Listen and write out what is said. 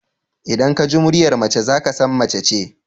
Idan ka ji muryar mace za ka san mace ce.